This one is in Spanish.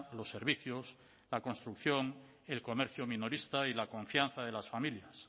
los servicios la construcción el comercio minorista y la confianza de las familias